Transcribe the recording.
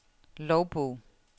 logbog